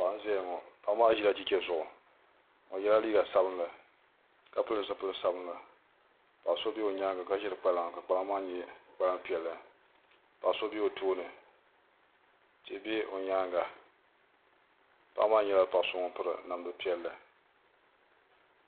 Paɣa n ʒɛya ŋo paɣa maa ʒila chɛchɛ zuɣu o yɛla liiga sabinli ka pili zipili sabinli paɣa so bɛ o nyaanga ka ʒiri kpalaŋa ka kpalaŋa maa nyɛ kpalaŋa piɛlli paɣa so o tooni tihi bɛ o nyaanga paɣa maa nyɛla paɣa so ŋun piri namdi piɛlli